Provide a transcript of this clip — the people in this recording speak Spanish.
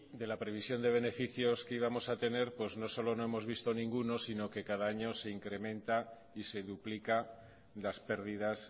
de la previsión de beneficios que íbamos a tener pues no solo no hemos visto ninguno sino que cada año se incrementa y se duplica las pérdidas